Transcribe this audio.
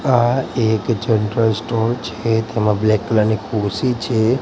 આ એક general store છે તેમાં બ્લેક કલર ની ખુરશી છે.